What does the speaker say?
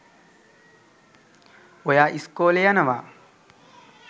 ඔයා ඉස්කෝලෙ යනවා